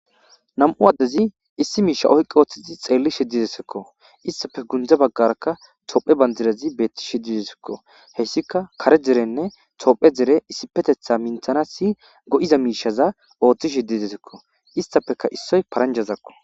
Nam'u addezi issi miisha oyqqi ooththizi xeelli shiddidesekko istafe gundza baggarakka toophe bandirezi beetti shididesekko heyssika kare derenne tophe dere issipetetha minthana si go'iza miishaza ooththi shiddidesekko istafeka issoy paranjazakko.